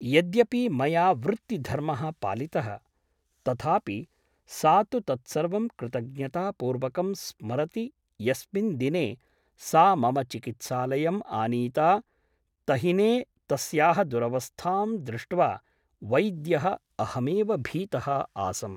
यद्यपि मया वृत्तिधर्मः पालितः , तथापि सा तु तत्सर्वं कृतज्ञतापूर्वकं स्मरति यस्मिन् दिने सा मम चिकित्सालयम् आनीता , तहिने तस्याः दुरवस्थां दृष्ट्वा वैद्यः अहमेव भीतः आसम् ।